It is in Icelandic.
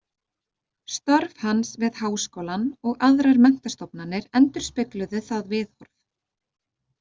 Störf hans við Háskólann og aðrar menntastofnanir endurspegluðu það viðhorf.